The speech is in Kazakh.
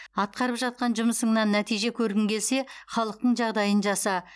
атқарып жатқан жұмысыңнан нәтиже көргің келсе халықтың жағдайын жаса